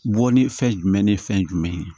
Bɔ ni fɛn jumɛn ni fɛn jumɛn ye